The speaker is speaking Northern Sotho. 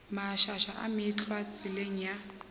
mašaša a meetlwa tseleng ya